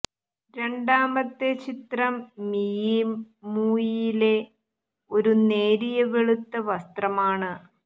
രണ്ടാമത്തെ ചിത്രം മിയി മൂയിയിലെ ഒരു നേരിയ വെളുത്ത വസ്ത്രമാണ്